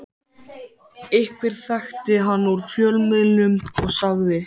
Einhver þekkti hann úr fjölmiðlum og sagði